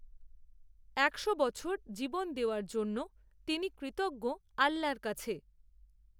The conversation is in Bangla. একশো বছর জীবন দেওয়ার জন্য তিনি কৃতজ্ঞ, আল্লার কাছে